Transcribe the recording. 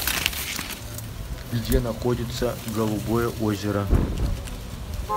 где находится голубое озеро